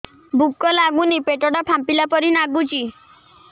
ଭୁକ ଲାଗୁନି ପେଟ ଟା ଫାମ୍ପିଲା ପରି ନାଗୁଚି